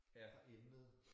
Fra emnet